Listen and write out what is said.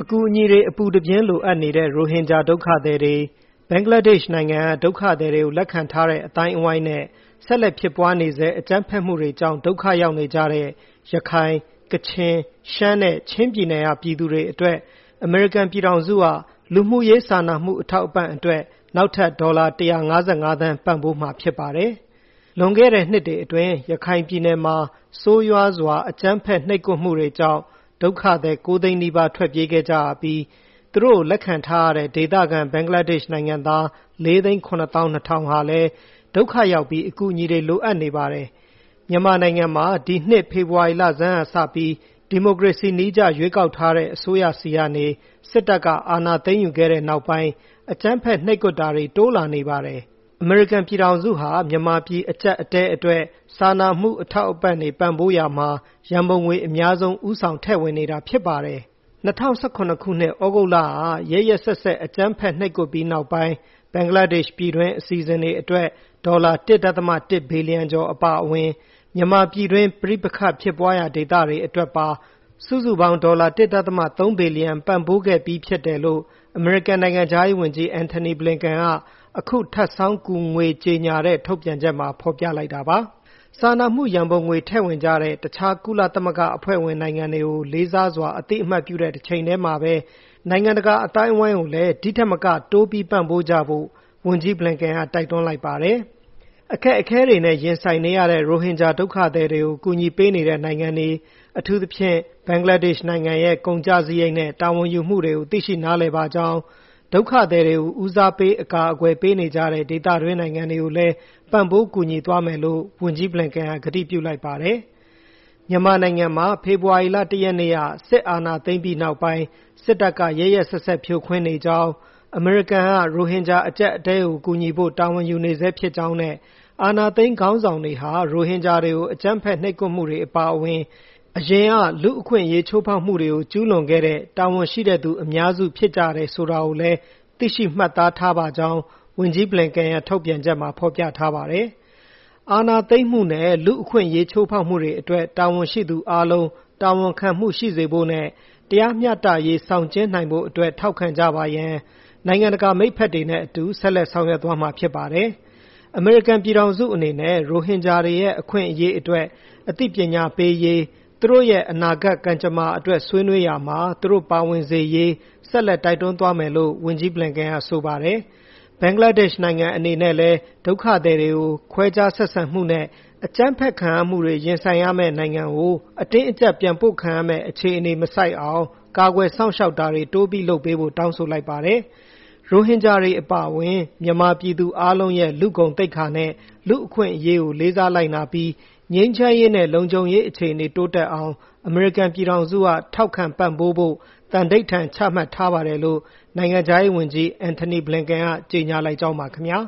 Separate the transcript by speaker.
Speaker 1: အကူအညီတွေ အပူတပြင်းလိုအပ်နေတဲ့ ရိုဟင်ဂျာဒုက္ခသည်တွေ၊ ဘင်္ဂလားဒက်ရှ်နိုင်ငံက ဒုက္ခသည်တွေကို လက်ခံထားတဲ့ အသိုင်းအဝိုင်းနဲ့ ဆက်လက်ဖြစ်ပွားနေဆဲ၊ အကြမ်းဖက်မှုတွေကြောင့် ဒုက္ခရောက်နေကြတဲ့ ရခိုင်၊ ကချင်၊ ရှမ်းနဲ့ ချင်းပြည်နယ်က ပြည်သူတွေအတွက် အမေရိကန်ပြည်ထောင်စုက လူမှုရေးစာနာမှုအထောက်အပံ့အတွက် နောက်ထပ် ဒေါ်လာ ၁၅၅ သန်းပံ့ပိုးမှာဖြစ်ပါတယ်။ လွန်ခဲ့တဲ့နှစ်တွေအတွင်း ရခိုင်ပြည်နယ်မှာ ဆိုးရွားစွာအကြမ်းဖက်နှိပ်ကွပ်မှုတွေကြောင့် ဒုက္ခသည် ၉ သိန်းနီးပါးထွက်ပြေးခဲ့ကြရပြီး၊ သူတို့ကို လက်ခံထားရတဲ့ဒေသခံ၊ ဘင်္ဂလားဒက်ရှ်နိုင်ငံသား ၄ သိန်း ၇ သောင်း ၂ ထောင်ဟာလည်း ဒုက္ခရောက်ပြီး၊ အကူအညီတွေ လိုအပ်နေပါတယ်။မြန်မာနိုင်ငံမှာ ဒီနှစ် ဖေဖေါ်ဝါရီလဆန်းကစပြီး၊ ဒီမိုကရေစီနည်းကျ ရွေးကောက်ထားတဲ့အစိုးရဆီကနေ စစ်တပ်ကအာဏာသိမ်းယူခဲ့တဲ့ နောက်ပိုင်း အကြမ်းဖက်နှိပ်ကွပ်တာတွေ တိုးလာနေပါတယ်။ အမေရိကန်ပြည်ထောင်စုဟာ မြန်မာပြည်အကျပ်အတည်းအတွက် စာနာမှုအထောက်အပံ့တွေ ပံ့ပိုးရာမှာ ရန်ပုံငွေအများဆုံး၊ ဦးဆောင်ထည့်ဝင်နေတာဖြစ်ပါတယ်။ ၂၀၁၇ ခုနှစ် သြဂုတ်လက ရက်ရက်စက်စက်အကြမ်းဖက် နှိပ်ကွပ်ပြီးနောက်ပိုင်း၊ ဘင်္ဂလားဒက်ရှ်ပြည်တွင်း အစီအစဉ်တွေအတွက် ဒေါ်လာ ၁.၁ ဘီလီယံကျော် အပါအဝင်၊ မြန်မာပြည်တွင်း ပဋိပက္ခဖြစ်ပွားရာဒေသတွေအတွက်ပါ စုစုပေါင်းဒေါ်လာ ၁.၃ ဘီလီယံ ပံ့ပိုးခဲ့ပြီးဖြစ်တယ်လို့ အမေရိကန်နိုင်ငံခြားရေးဝန်ကြီး Antony Blinken က အခု ထပ်ဆောင်းကူငွေကြေညာတဲ့ ထုတ်ပြန်ချက်မှာဖေါ်ပြလိုက်တာပါ။ စာနာမှုရန်ပုံငွေ ထည့်ဝင်ကြတဲ့ တခြားကုလသမဂ္ဂအဖွဲ့ဝင်နိုင်ငွတွေကို လေးစားစွာ အသိအမှတ်ပြုတဲ့တချိန်တည်းမှာဘဲ နိုင်ငံတကာအသိုင်းအဝိုင်းကိုလည်း ဒီထက်မက တိုးပြီးပံ့ပိုးကြဖို့ ဝန်ကြီး Blinken ကတိုက်တွန်းလိုက်ပါတယ်။ အခက်အခဲတွေနဲ့ ရင်ဆိုင်နေရတဲ့ ရိုဟင်ဂျာဒုက္ခသည်တွေကို ကူညီပေးနေတဲ့ နိုင်ငံတွေ၊ အထူးသဖြင့် ဘင်္ဂလားဒက်ရှ်နိုင်ငံရဲ့ ကုန်ကျစားရိတ်နဲ့ တာဝန်ယူမှုတွေကို သိရှိနားလည်ပါကြောင်း၊ ဒုက္ခသည်တွေကို ဦးစားပေး အကာအကွယ်ပေးနေကြတဲ့ ဒေသတွင်းနိုင်ငံတွေကိုလည်း ပံ့ပိုးကူညီသွားမယ်လို့ ဝန်ကြီး Blinken က ကတိပြုလိုက်ပါတယ်။ မြန်မာနိုင်ငံမှာ ဖေဖေါ်ဝါရီလ ၁ ရက်နေ့က စစ်အာဏာသိမ်းပြီးနောက်ပိုင်း စစ်တပ်က ရက်ရက်စက်စက် ဖြိုခွင်းနေကြောင်း၊ အမေရိကန်က ရိုဟင်ဂျာအကျပ်အတည်းကို ကူညီဖို့ တာဝန်ယူနေဆဲဖြစ်ကြောင်းနဲ့ အာဏာသိမ်းခေါင်းဆောင်တွေဟာ ရိုဟင်ဂျာတွေကို အကြမ်းဖက် နှိပ်ကွပ်မှုတွေအပါအဝင်၊ အရင်က လူ့အခွင့်အရေးချိုးဖေါက်မှုတွေကို ကျူးလွန်ခဲ့တဲ့၊ တာဝန်ရှိတဲ့သူအများစုဖြစ်ကြတယ်ဆိုတာကိုလည်း သိရှိမှတ်သားထားပါကြောင်း ဝန်ကြီး Blinken ရဲ့ ထုတ်ပြန်ချက်မှာ ဖေါ်ပြထားပါတယ်။ အာဏာသိမ်းမှုနဲ့ လူ့အခွင့်အရေးချိုးဖေါက်မှုတွေအတွက် တာဝန်ရှိသူအားလုံး တာဝန်ခံမှုရှိစေဖို့နဲ့ တရားမျှတရေး ဆောင်ကျဉ်းနိုင်ဖို့အတွက် ထောက်ခံကြပါရန်၊ နိုင်ငံတကာမိတ်ဖက်တွေနဲ့အတူ ဆက်လက်ဆောင်ရွက်သွားမှာဖြစ်ပါတယ်။ အမေရိကန်ပြည်ထောင်စုအနေနဲ့ ရိုဟင်ဂျာတွေရဲ့ အခွင့်အရေးအတွက် အသိပညာပေးရေး၊ သူတို့ရဲ့ အနာဂတ်ကံကြမ္မာအတွက်ဆွေးနွေးရာမှာ သူတို့ပါဝင်စေရေး ဆက်လက် တိုက်တွန်းသွားမယ်လို့ ဝန်ကြီး Blinken က ဆိုပါတယ်။ ဘင်္ဂလားဒက်ရှ်နိုင်ငံ အနေနဲ့လည်း၊ ဒုက္ခသည်တွေကို ခွဲခြားဆက်ဆံမှုနဲ့ အကြမ်းဖက်ခံရမှုတွေ ရင်ဆိုင်ရမယ့် နိုင်ငံကို အတင်းအကျပ်ပြန်ပို့ခံရမယ့် အခြေအနေမဆိုက်အောင်၊ ကာကွယ်စောင့်ရှောက်တာတွေ တိုးပြီးလုပ်ပေးဖို့ တောင်းဆိုလိုက်ပါတယ်။ ရိုဟင်ဂျာတွေအပါအဝင် မြန်မာပြည်သူအားလုံးရဲ့ လူ့ဂုဏ်သိက္ခာနဲ့ လူ့အခွင်းအရေးကိုလေးစားလိုက်နာပြီး၊ ငြိမ်းချမ်းရေးနဲ့ လုံခြုံရေးအခြေအနေ တိုးတက်အောင် အမေရိကန်ပြည်ထောင်စုက ထောက်ခံပံပိုးဖို့ သံဓိဌာန်ချမှတ်ထားပါတယ်လို့ နိုင်ငံခြားရေးဝန်ကြီး Antony Blinken ကကြေညာလိုက်ကြောင်းပါ ခင်ဗျာ